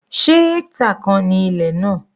Se hectare kan ni ilẹ̀ náà?